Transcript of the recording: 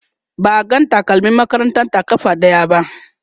ba a ga takalmin makarantar ta ƙafa ɗaya ba